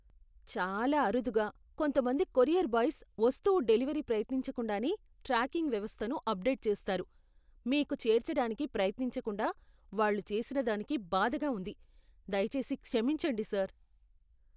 చాలా అరుదుగా, కొంతమంది కొరియర్ బాయ్స్ వస్తువు డెలివరీ ప్రయత్నించకుండానే ట్రాకింగ్ వ్యవస్థను అప్డేట్ చేస్తారు. మీకు చేర్చడానికి ప్రయత్నించకుండా వాళ్ళు చేసినదానికి బాధగా ఉంది, దయచేసి క్షమించండి, సర్.